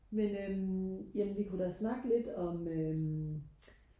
men øhm jamen vi kunne da snakke lidt om øhm